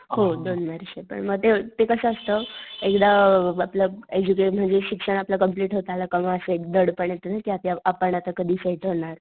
हो दोन वर्ष पण मग ते ते कस असत एकदा आपलं एडुकेशन म्हणजे शिक्षण आपलं कंप्लेंट होत आलं का असं एक दडपण येत कि आपण आता कधी सेट होणार.